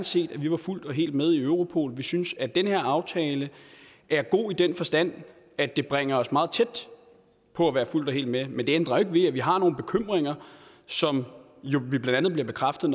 set at vi var fuldt og helt med i europol vi synes at den her aftale er god i den forstand at det bringer os meget tæt på at være fuldt og helt med men det ændrer ikke ved at vi har nogle bekymringer som vi blandt andet bliver bekræftet